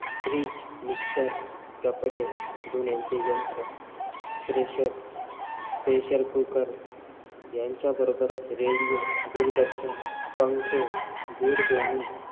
Freeze, mixer, कपडे, धुण्याचे यंत्र, pressure, pressure cooker यांच्या बरोबरच radio, दूरदर्शन, पंखे, दूरध्वनी,